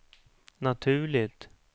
naturligt